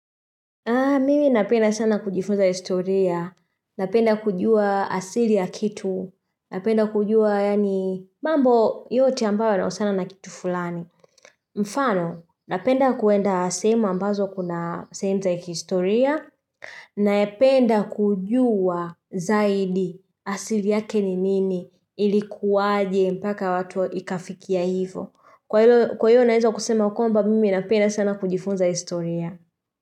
Mimi napenda sana kujifunza historia, napenda kujua asili ya kitu, napenda kujua yani mambo yote ambayo yanausiana na kitu fulani. Mfano, napenda kuenda sehemu ambazo kuna sehemu za kihistoria, napenda kujua zaidi asili yake ni nini ilikuwaje mpaka watu ikafikia hivo. Kwa hilo, kwa hilo naeza kusema kwamba, mimi napenda sana kujifunza historia.